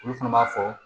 Olu fana b'a fɔ